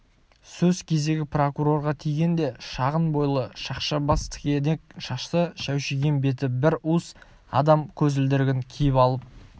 сөз кезегі прокурорға тигенде шағын бойлы шақша бас тікенек шашты шәушиген беті бір уыс адам көзілдірігін киіп алып